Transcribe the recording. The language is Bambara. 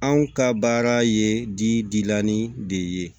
Anw ka baara ye dilanni de ye